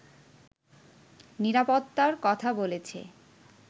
নিরাপত্তার কথা বলেছে